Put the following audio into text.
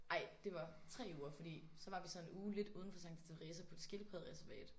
Ej det var 3 uger fordi så var vi så en uge lidt udenfor Santa Teresa på et skildpaddereservat